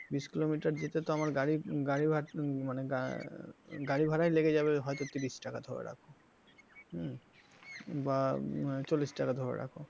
বিষ কিলোমিটার যেতে তো আমার গাড়ি মানে গাড়ি ভাড়ায় লেগে যাবে হয়তো তিরিশ টাকা ধরে রাখো হম বা চল্লিশ টাকা ধরে রাখো,